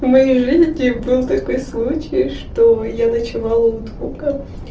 в моей жизни был такой случай что я ночевала у друга